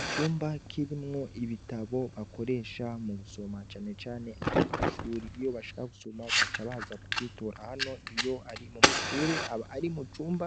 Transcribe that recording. Icumba kirimwo ibitabo bakoresha mugusoma cane cane abanyeshure iyo bashaka gusoma baca baza kugitora hano, iyo ari mumashure ,aba ari icumba